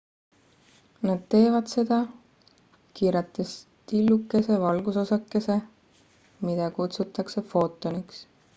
nad teevad seda kiirates tillukese valgusosakese mida kutsutakse footoniks